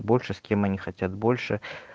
больше с кем они хотят больше